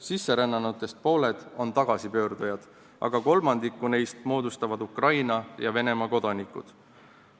Sisserännanutest pooled on tagasipöördujad, aga kolmandiku moodustavad Ukraina ja Venemaa kodanikud.